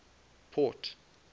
port